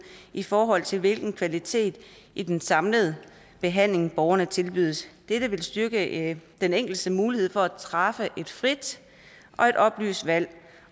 i forhold til hvilken kvalitet i den samlede behandling borgerne tilbydes dette vil styrke den enkeltes mulighed for at træffe et frit og et oplyst valg